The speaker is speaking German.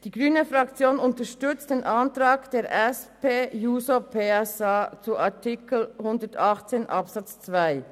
Die grüne Fraktion unterstützt den Antrag der SP-JUSOPSA-Fraktion zu Artikel 118 Absatz 2.